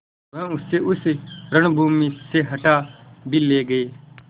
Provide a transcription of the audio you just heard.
वह उसे उस रणभूमि से हटा भी ले गये